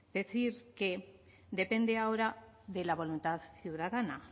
decir que depende ahora de la voluntad ciudadana